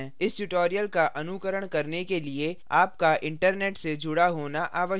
इस tutorial का अनुकरण करने के लिए आपका internet से जुड़ा होना आवश्यक है